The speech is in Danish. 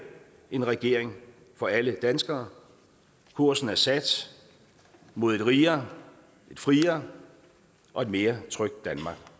en regering for alle danskere kursen er sat mod et rigere et friere og et mere trygt danmark